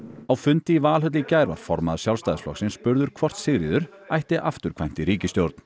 á fundi í Valhöll í gær var formaður Sjálfstæðisflokksins spurður hvort Sigríður ætti afturkvæmt í ríkisstjórn